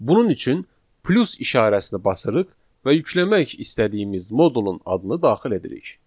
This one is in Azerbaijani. Bunun üçün plus işarəsini basırıq və yükləmək istədiyimiz modulun adını daxil edirik.